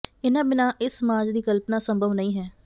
ਇਨ੍ਹਾਂ ਬਿਨ੍ਹਾਂ ਇਸ ਸਮਾਜ ਦੀ ਕਲਪਨਾ ਸੰਭਵ ਨਹੀਂ ਹੈ